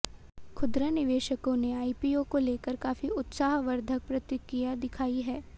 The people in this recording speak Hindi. खुदरा निवेशकों ने आईपीओ को लेकर काफी उत्साहवर्धक प्रतिक्रिया दिखाई है